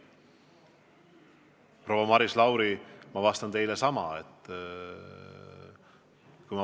Proua Maris Lauri, ma kinnitan teile sama.